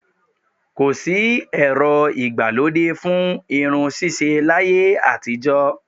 Ko sì ẹ̀rọ ìgbà lóde fún irun ṣíṣe láyé àtijó